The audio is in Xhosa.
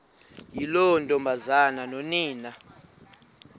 yiloo ntombazana nonina